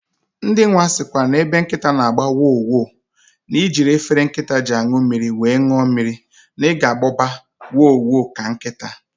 Ndị nwa sikwa na ebe ọbụ na nkịta na agbọ wo! wo!, na ijiri efele nkịta ji anụ mmiri wee ṅụọ mmiri, na ị ga agboba wo!wo! ka nkịta